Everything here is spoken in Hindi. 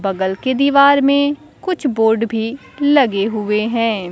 बगल के दीवार में कुछ बोर्ड भी लगे हुए हैं।